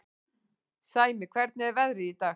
Sæmi, hvernig er veðrið í dag?